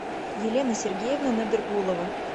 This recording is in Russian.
елена сергеевна надыргулова